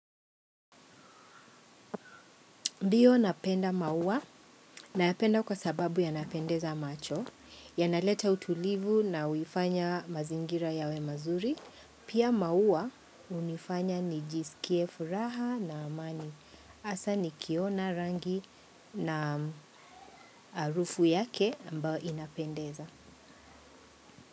Ndiiyo napenda maua, nayapenda kwa sababu yanapendeza macho, yanaleta utulivu na huifanya mazingira yawe mazuri, pia maua hunifanya nijisikie furaha na amani. Hasa nikiona rangi na harufu yake ambayo inapendeza.